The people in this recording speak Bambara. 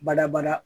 Badabada